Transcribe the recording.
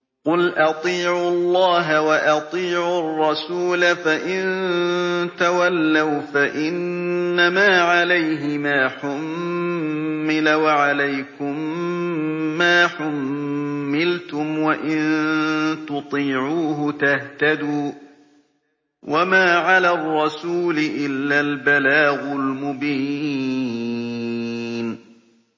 قُلْ أَطِيعُوا اللَّهَ وَأَطِيعُوا الرَّسُولَ ۖ فَإِن تَوَلَّوْا فَإِنَّمَا عَلَيْهِ مَا حُمِّلَ وَعَلَيْكُم مَّا حُمِّلْتُمْ ۖ وَإِن تُطِيعُوهُ تَهْتَدُوا ۚ وَمَا عَلَى الرَّسُولِ إِلَّا الْبَلَاغُ الْمُبِينُ